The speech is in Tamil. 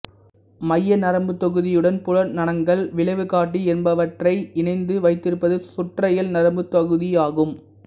மைய நரம்புத்தொகுதியுடன் புலனங்கங்கள் விளைவுகாட்டி என்பவற்றை இணைத்து வைத்திருப்பது சுற்றயல் நரம்பு தொகுதி ஆகும்